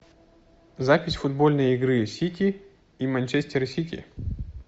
запись футбольной игры сити и манчестер сити